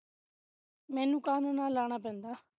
ਮੈਨੂੰ ਕਾਨੂੰ ਨਾਲ ਲੜਨਾ ਪੈਂਦਾ